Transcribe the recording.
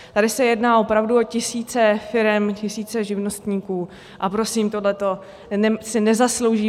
Tady se jedná opravdu o tisíce firem, tisíce živnostníků, a prosím, tohle si nezaslouží.